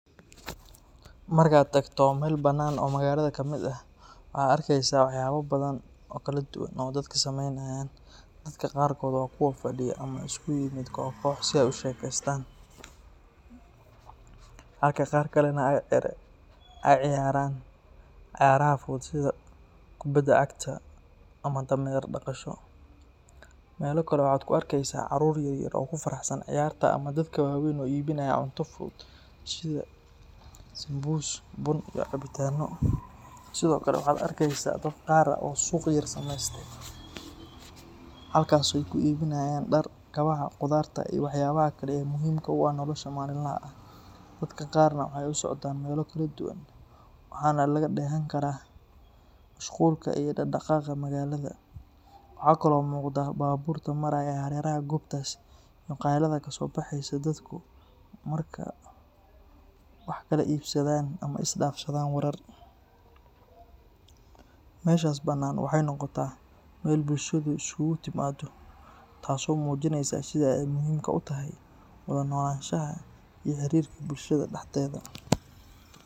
Marka aad tagto meel bannaan oo magaalada kamid ah, waxaad arkeysaa waxyaabo badan oo kala duwan oo dadka sameynayaan. Dadka qaarkood waa kuwo fadhiya ama isugu yimid koox koox si ay u sheekaystaan, halka qaar kalena ay ciyaarayaan cayaaraha fudud sida kubadda cagta ama dameer-dhaqasho. Meelo kale waxaad ka arkaysaa caruur yar yar oo ku faraxsan ciyaarta ama dadka waaweyn oo iibinaya cunto fudud sida sambuus, bun, iyo cabitaanno. Sidoo kale waxaad arkaysaa dad qaar ah oo suuq yar sameystay, halkaasoo ay ku iibinayaan dhar, kabaha, khudaarta iyo waxyaabaha kale ee muhiimka u ah nolosha maalinlaha ah. Dadka qaarna waxay u socdaan meelo kala duwan, waxaana laga dheehan karaa mashquulka iyo dhaqdhaqaaqa magaalada. Waxa kale oo muuqda baabuurta maraya hareeraha goobtaas iyo qaylada ka soo baxaysa dadku markay wax kala iibsadaan ama isdhaafsadaan warar. Meeshaas bannaan waxay noqotaa meel bulshadu iskugu timaaddo, taasoo muujinaysa sida ay muhiimka u tahay wada noolaanshaha iyo xiriirka bulshada dhexdeeda.